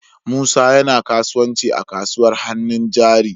Musa yana kasuwanci a kasuwar hannun jari.